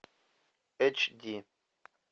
эйч ди